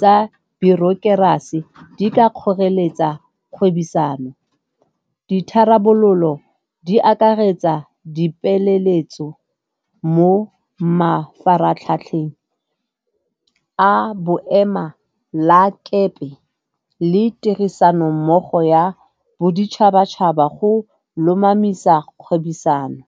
tsa bureaucracy di ka kgoreletsa kgwebisano. Ditharabololo di akaretsa dipeeletso mo mafaratlhatlheng a boema la kepe le tirisanommogo ya boditšhabatšhaba go lomamisa kgwebisano.